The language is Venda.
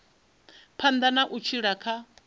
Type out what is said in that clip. phanḓa na u tshila kha